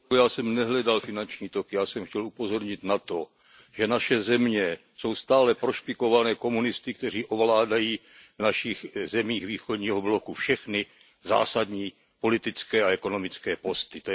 Já jsem nehledal finanční toky, já jsem chtěl upozornit na to, že naše země jsou stále prošpikovány komunisty, kteří ovládají v našich zemích východního bloku všechny zásadní politické a ekonomické posty.